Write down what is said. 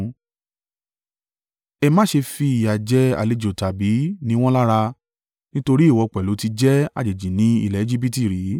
“Ẹ má ṣe fi ìyà jẹ àlejò tàbí ni wọ́n lára, nítorí ìwọ pẹ̀lú ti jẹ́ àjèjì ni ilẹ̀ Ejibiti rí.